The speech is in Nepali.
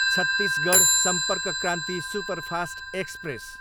Chhattisgarh Sampark Kranti superfast express